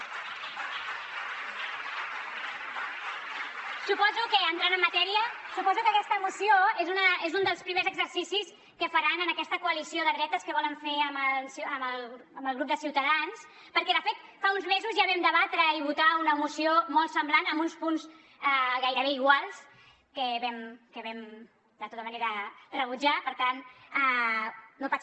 suposo que entrant en matèria aquesta moció és un dels primers exercicis que faran en aquesta coalició de dretes que volen fer amb el grup de ciutadans perquè de fet fa uns mesos ja vam debatre i votar una moció molt semblant amb uns punts gairebé iguals que vam de tota manera rebutjar per tant no pot ser